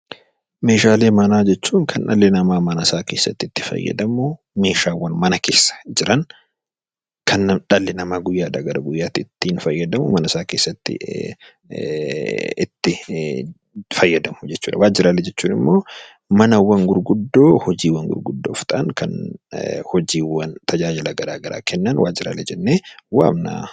Meeshaalee manaa jechuun kan dhalli namaa mana isaa keessatti guyyaadhaa guyyaatti itti fayyadamu jechuudha. Meeshaalee waajjiraalee jechuun immoo manawwan fi hojiiwwan gurguddoof ta'an, tajaajila garaa garaa kennan meeshaalee waajjiraalee jennee waamna.